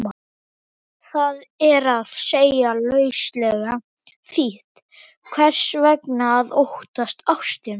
Það er að segja, lauslega þýtt, hvers vegna að óttast ástina?